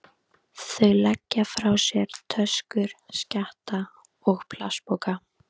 Þau leggja frá sér töskur, skjatta og plastpoka.